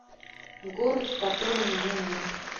город в котором меня нет